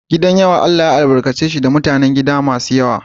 Gidan yawa Allah ya albarkace shi da mutanen gida masu yawa.